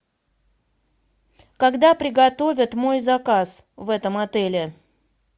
когда приготовят мой заказ в этом отеле